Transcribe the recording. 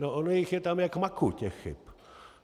No ono jich je tam jak máku těch chyb.